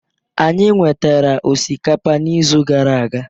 Anyị nwetara osikapa n'izu gara aga.